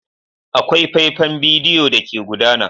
Akwai faifan bidiyo da ke gudana.